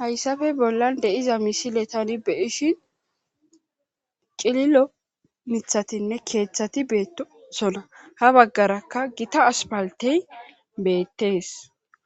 hayssafe bollan deiza misile tani be ishin cililo mithatinne keeththati beetosona ha baggarakka gita aspaltey beettees